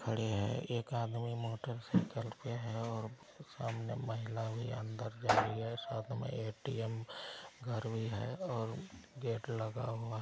खड़े है एक आदमी मोटरसाइकिल पे है। और सामने महिला भी अंदर जा रही है। साथ मे ए_टी_एम घर भी है। और गेट लगा हुआ है।-